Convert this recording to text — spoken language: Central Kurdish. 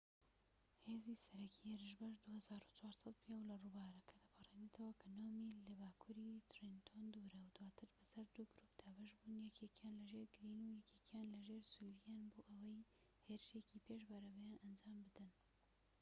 هێزی سەرەکی هێرشبەر 2400 پیاو لە ڕووبارەکە دەپەڕینەوە کە نۆ میل لە باکووری ترێنتۆن دوورە و دواتر بەسەر دوو گرووپ دابەش بوون یەکێکیان لەژێر گریین و یەکێکیان لەژێر سولڤیان بۆ ئەوەی هێرشێکی پێش بەرەبەیان ئەنجام بدەن